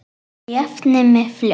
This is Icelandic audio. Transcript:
Svo ég jafni mig fljótt.